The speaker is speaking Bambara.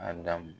A dam